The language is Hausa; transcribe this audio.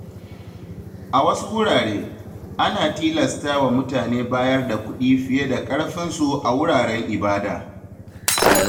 A wasu wurare, ana tilasta wa mutane bayar da kuɗi fiye da ƙarfinsu a wuraren ibada.